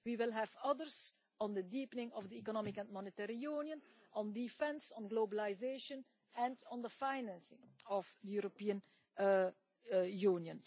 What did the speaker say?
We will have others on the deepening of the Economic and Monetary Union, on defence, on globalisation and on the financing of the European Union.